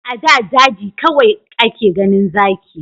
A da daji kawai ake ganin zaki